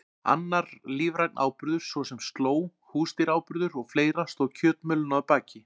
Annar lífrænn áburður, svo sem slóg, húsdýraáburður og fleira stóð kjötmjölinu að baki.